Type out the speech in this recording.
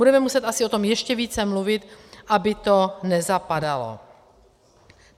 Budeme muset asi o tom ještě více mluvit, aby to nezapadalo.